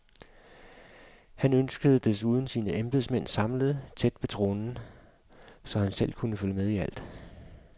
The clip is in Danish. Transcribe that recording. Han ønskede desuden sine embedsmænd samlet tæt ved tronen, så han selv kunne følge med i alt.